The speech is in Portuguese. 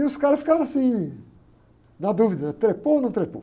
E os caras ficaram assim, na dúvida, trepou ou não trepou?